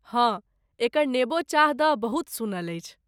हँ, एकर नेबो चाह दऽ बहुत सुनल अछि।